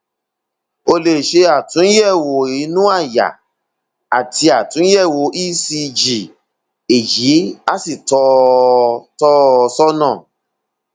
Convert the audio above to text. ó lè ṣe àtúnyẹwò inú àyà àti àtúnyẹwò ecg èyí á sì tọ ọ tọ ọ sọnà